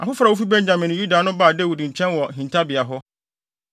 Afoforo a wofi Benyamin ne Yuda no baa Dawid nkyɛn wɔ hintabea hɔ.